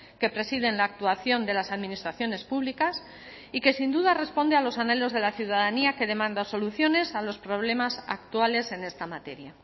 que presiden la actuación de las administraciones públicas y que sin duda responde a los anhelos de la ciudadanía que demanda soluciones a los problemas actuales en esta materia